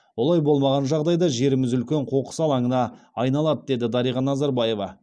олай болмаған жағдайда жеріміз үлкен қоқыс алаңына айналады деді дариға назарбаева